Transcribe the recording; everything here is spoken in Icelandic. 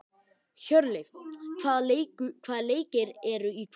Hjörleif, hvaða leikir eru í kvöld?